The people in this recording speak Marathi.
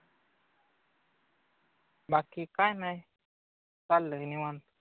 बाकी काही नाही.